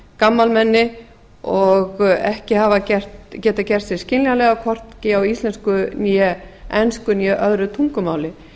gamalmennum og ekki hafa getað gert sig skiljanlega hvorki á íslensku né ensku né öðrum tungumáli